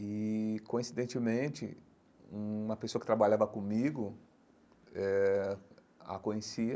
E, coincidentemente, uma pessoa que trabalhava comigo eh a conhecia,